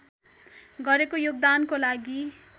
गरेको योगदानको लागि